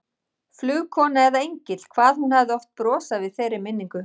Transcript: Flugkona eða engill, hvað hún hafði oft brosað við þeirri minningu.